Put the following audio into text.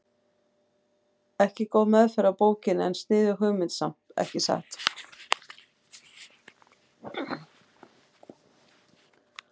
Ekki góð meðferð á bókinni en sniðug hugmynd samt, ekki satt?